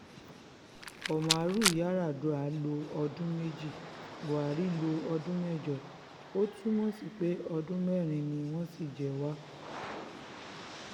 òmàrú yardua lo ọdún méjì buhari lo ọdún mẹ́jọ ó túmọ̀ sí pé ọdún mẹ́rin ni wọ́n ṣì jẹ wá